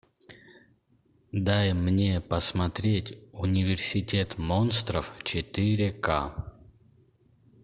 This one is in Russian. дай мне посмотреть университет монстров четыре к